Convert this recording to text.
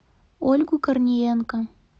ольгу корниенко